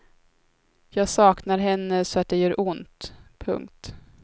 Jag saknar henne så att det gör ont. punkt